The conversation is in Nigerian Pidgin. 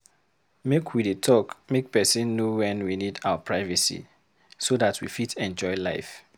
Make we dey talk make pesin know wen we need our privacy, so dat we fit enjoy life.